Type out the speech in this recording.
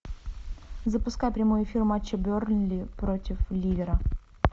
запускай прямой эфир матча бернли против ливера